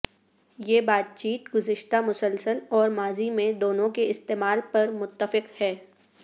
یہ بات چیت گزشتہ مسلسل اور ماضی میں دونوں کے استعمال پر متفق ہے